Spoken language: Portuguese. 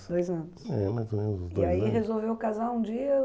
anos. É, mais uns dois anos... E aí resolveu casar um dia?